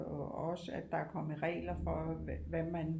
Og også at der er kommet regler for hvad man